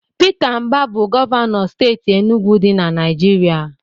Pita Mbah bu Gọvanọ steeti Enugwu di na Naijiria.